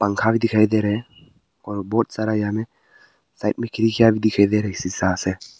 दिखाई दे रहे है और बहुत सारा यहां में साइड में खिड़कियां भी दिखाई दे रहे है से।